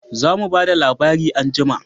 Za mu ba da labari anjima